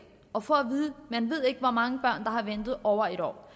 og får at vide at man ikke ved hvor mange børn der har ventet over en år